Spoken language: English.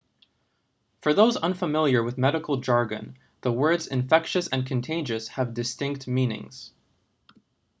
for those unfamiliar with medical jargon the words infectious and contagious have distinct meanings